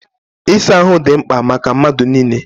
Ịsa ahụ dị mkpa maka mmadụ niile.